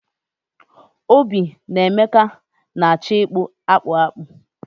Obi na Emeka na-acho ikpu akpu akpu